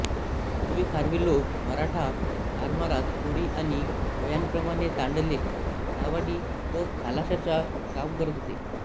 पुर्वी खारवी लोक मराठा आरमारात कोळी आणि भोयांप्रमाणे तांडेल नावाडी व खालाशाचा काम करत होते